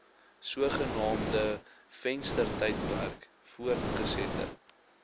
sogenaamde venstertydperk voortgesette